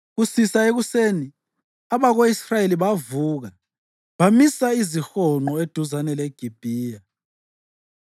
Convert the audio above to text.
Kusisa ekuseni, abako-Israyeli bavuka bamisa izihonqo eduzane leGibhiya.